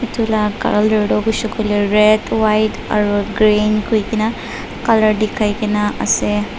etu lah colour tu hoise koile red white aru green koi ke na colour dikhai ke na ase.